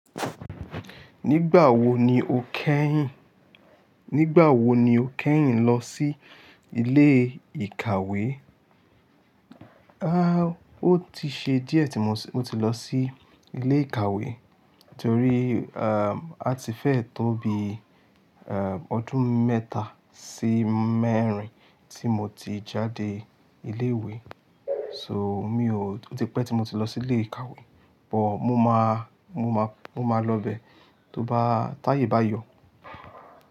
Nígbà wo ni o kẹ́yìn, nígbà wo ni o kẹ́yìn lọ sí ilé ìkàwé? Ah, ó ti ṣe díẹ̀ tí mo ti lọ sí ilé ìkàwé torí, ah, a ti fẹ́ tóbi, eeh, ọdún mẹ́ta sí mẹ́rin tí mo ti jáde ilé ìwé. So mi ò, ó ti pẹ́ tí mo ti lọ sí ilé ìkàwé, but mo máa, mo máa, mo máa lọ bẹ tó bá, táyé bá yọ.